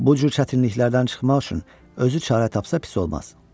Bu cür çətinliklərdən çıxmaq üçün özü çarə tapsa pis olmaz.